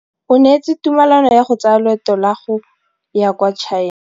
O neetswe tumalanô ya go tsaya loetô la go ya kwa China.